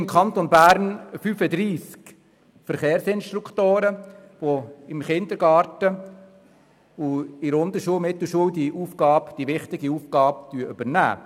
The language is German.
Im Kanton Bern gibt es 35 Verkehrsinstruktoren, die im Kindergarten und in der Unter- und Mittelstufe diese wichtige Aufgabe übernehmen.